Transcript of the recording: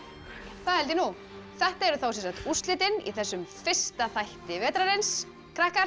það held ég nú þetta eru úrslitin í þessum fyrsta þætti vetrarins krakkar